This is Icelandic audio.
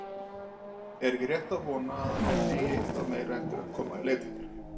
Er ekki rétt að vona, að enn eigi eitthvað meira eftir að koma í leitirnar?